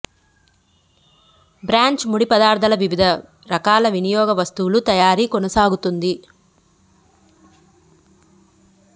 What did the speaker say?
branch ముడి పదార్థాల వివిధ రకాల వినియోగ వస్తువుల తయారీ కొనసాగిస్తోంది